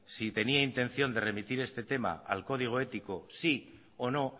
si tenía intención de remitir este tema al código ético sí o no